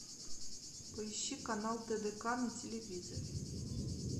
поищи канал тдк на телевизоре